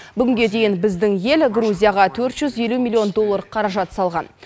бүгінге дейін біздің ел грузияға төрт жүз елу миллион доллар қаражат салған